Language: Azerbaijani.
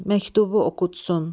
Məktubu oxutsun.